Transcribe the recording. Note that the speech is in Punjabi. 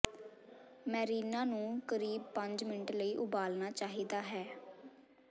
ਮੈਰੀਨਾ ਨੂੰ ਕਰੀਬ ਪੰਜ ਮਿੰਟ ਲਈ ਉਬਾਲਣਾ ਚਾਹੀਦਾ ਹੈ